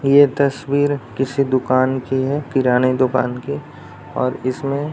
ये तस्वीर किसी दुकान की है किराने दुकान की और इसमें --